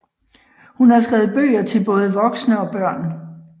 Hun har skrevet bøger til både voksne og børn